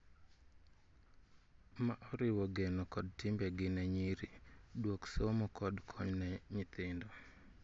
Ma oriwo geno kod timbe gi ne nyiri, duok somo kod kony ne nyithindo